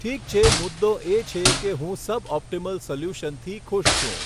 ઠીક છે મુદ્દો એ છે કે હું સબઓપટીમલ સોલ્યુશનથી ખુશ છું.